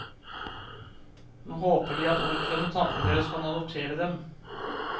Nå håper de at onkelen og tanten deres kan adoptere dem.